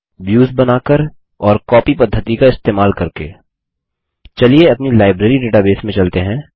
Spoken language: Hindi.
aव्युस बनाकर और bकॉपी पद्धति का इस्तेमाल करके अपनी लाइब्रेरी डेटाबेस में चलते हैं